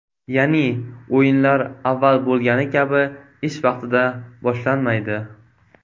Ya’ni, o‘yinlar avval bo‘lgani kabi ish vaqtida boshlanmaydi.